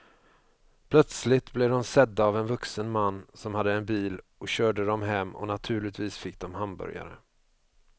Plötsligt blev de sedda av en vuxen man som hade en bil och körde dem hem och naturligtvis fick de hamburgare.